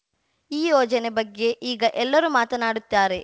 ಈ ಯೋಜನೆ ಬಗ್ಗೆ ಈಗ ಎಲ್ಲರೂ ಮಾತನಾಡುತ್ತಾರೆ